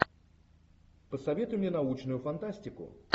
посоветуй мне научную фантастику